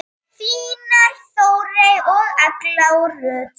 Þínar Þórey og Eygló Rut.